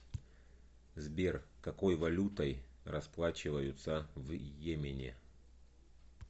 сбер какой валютой расплачиваются в йемене